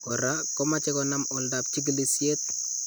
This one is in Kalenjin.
Koraa komache konaam oldap chikilisyeet